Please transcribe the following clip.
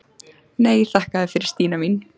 Nei, þakka þér fyrir Stína mín.